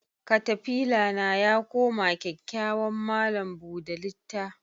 Katafila na yakoma kyakyawan malam buda litta.